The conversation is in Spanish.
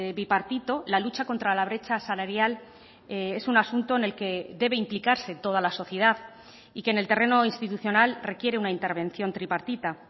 bipartito la lucha contra la brecha salarial es un asunto en el que debe implicarse toda la sociedad y que en el terreno institucional requiere una intervención tripartita